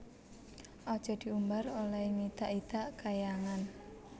Aja diumbar olehe ngidak idak Kahyangan